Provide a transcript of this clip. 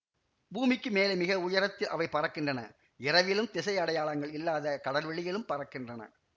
பூமிக்குமேலே மிக உயரத்தில் அவை பறக்கின்றன இரவிலும் திசையடையாளங்கள் இல்லாத கடல்வெளிமேலும் பறக்கின்றன